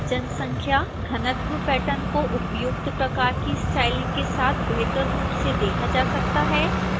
जनसंख्या घनत्व पैटर्न को उपयुक्त प्रकार की स्टाइलिंग के साथ बेहतर रूप से देखा जा सकता है